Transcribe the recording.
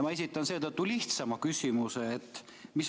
Ma esitan seetõttu lihtsama küsimuse.